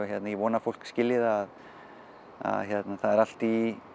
ég vona að fólk skilji það að það er allt í